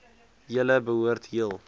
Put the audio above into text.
julle behoort heel